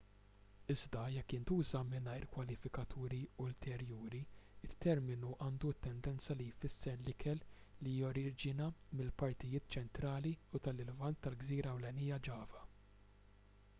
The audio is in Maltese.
iżda jekk jintuża mingħajr kwalifikaturi ulterjuri it-terminu għandu t-tendenza li jfisser l-ikel li joriġina mill-partijiet ċentrali u tal-lvant tal-gżira ewlenija java